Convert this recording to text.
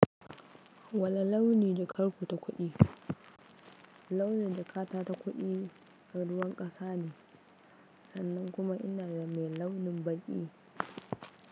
Wani launi jaƙar ku ta kuɗi. Launi da jakata ta kuɗi ta ruwan ƙasa ne sannan kuma ina da mai launin baƙi.